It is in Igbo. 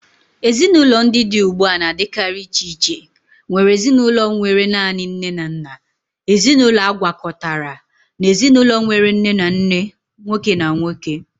Ezinụlọ ndị dị ugbu a na-adịkarị iche iche, nwere ezinụlọ nwere naanị nne na nna, ezinaụlọ agwakọtara, na ezinụlọ nwere nne na nne nwoke na nwoke